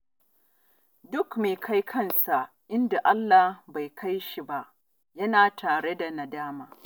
Duk mai kai kansa inda Allah bai kai shi ba, yana tare da nadama